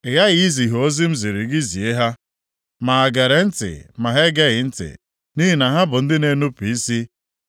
Ị ghaghị izi ha ozi m ziri gị zie ha, ma ha gere ntị ma ha egeghị ntị, nʼihi na ha bụ ndị na-enupu isi.